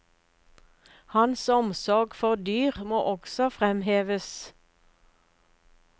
Hans omsorg for dyr må også fremheves.